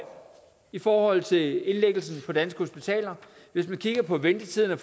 i forhold til indlæggelse på danske hospitaler hvis man kigger på ventetiderne